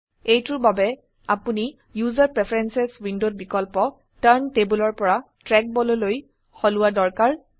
এইটোৰ বাবে আপোনি ওচেৰ প্ৰেফাৰেন্স উইন্ডোত বিকল্প টাৰ্ণ tableৰ পৰা ট্ৰেকবল লৈ সলোৱা দৰকাৰ